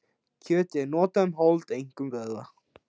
Kjöt er notað um hold, einkum vöðva.